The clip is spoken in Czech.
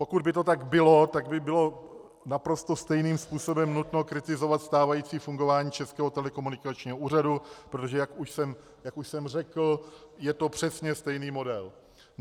Pokud by to tak bylo, tak by bylo naprosto stejným způsobem nutno kritizovat stávající fungování Českého telekomunikačního úřadu, protože jak už jsem řekl, je to přesně stejný model.